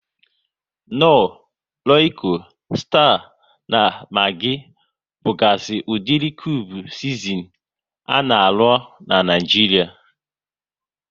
Knor, Royiko, Sita na Magi bugazi udiri kube sizinin a na arụ ahụ n'Naijiria